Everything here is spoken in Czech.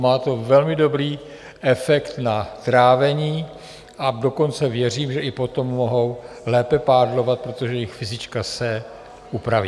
Má to velmi dobrý efekt na trávení, a dokonce věřím, že i potom mohou lépe pádlovat, protože jejich fyzička se upraví.